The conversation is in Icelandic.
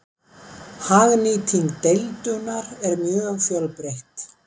hagnýting deildunar er mjög fjölbreytt